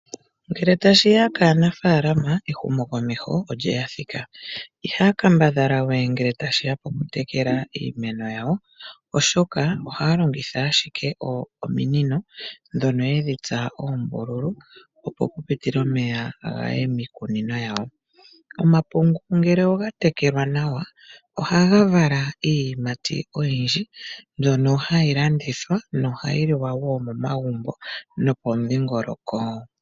Ngele tashiya kaanafalama ehumokomeho olyeya thika. Iha kambadhala we ngele tashiya piimeno yawo oshoka ohaa longitha ashike omiinino dhono yedhi tsa ombululu opo pu pitile omeya gaye miikunino yawo. Omapungu ngele oga tekelwa nawa ohaga vala iiyimati oyindji mbyono hayi landithwa nohayi liwa wo momagumbo nopomudhingoloko.